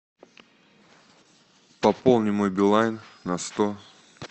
пополни мой билайн на сто